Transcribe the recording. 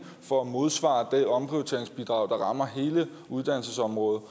for at modsvare det omprioriteringsbidrag der rammer hele uddannelsesområdet